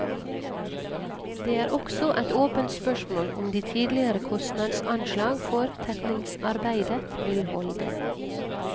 Det er også et åpent spørsmål om de tidligere kostnadsanslag for tetningsarbeidet vil holde.